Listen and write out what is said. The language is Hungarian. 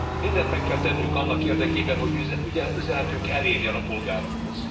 Mindent meg kell tennünk annak érdekében, hogy üzenetünk elérjen a polgárokhoz.